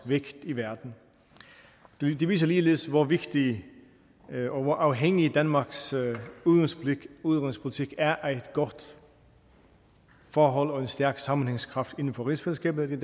vægt i verden det viser ligeledes hvor vigtig og hvor afhængig danmarks udenrigspolitik er af et godt forhold og en stærk sammenhængskraft inden for rigsfællesskabet